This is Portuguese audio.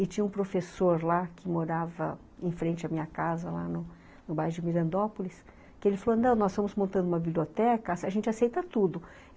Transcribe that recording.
E tinha um professor lá, que morava em frente à minha casa, lá no bairro de Mirandópolis, que ele falou, não, nós estamos montando uma biblioteca, a gente aceita tudo.